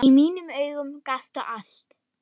Í mínum augum gastu allt.